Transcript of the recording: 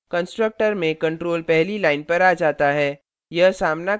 constructor में control पहली line पर आ जाता है